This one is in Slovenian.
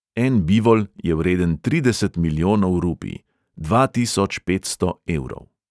En bivol je vreden trideset milijonov rupij, dva tisoč petsto evrov.